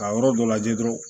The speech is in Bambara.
Ka yɔrɔ dɔ lajɛ dɔrɔn